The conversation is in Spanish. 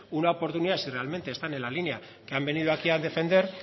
una oportunidad si realmente están en la línea que han venido aquí a defender